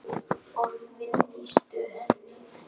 Orðin lýstu henni ekki.